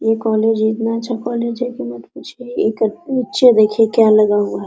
ये कॉलेज इतना अच्छा कॉलेज है कि मत पूछिए अच्छा देखिए क्या लगा हुआ --